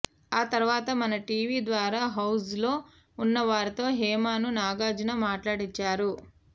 ఆ తరవాత మన టీవీ ద్వారా హౌజ్లో ఉన్నవారితో హేమను నాగార్జున మాట్లాడించారు